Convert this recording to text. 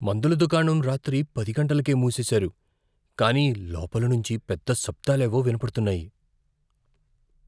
మందుల దుకాణం రాత్రి పది గంటలకే మూసేశారు, కానీ లోపలి నుంచీ పెద్ద శబ్దాలేవో వినపడుతున్నాయి.